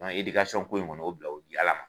Nɔn edikasɔn ko in kɔni o bila o di ala ma